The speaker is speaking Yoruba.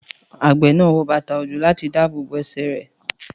Àgbẹ̀ náà wọ bàtà òjò láti dábòbò ẹ̀sẹ̀ rẹ